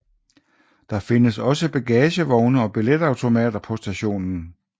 Der findes også bagagevogne og billetautomater på stationen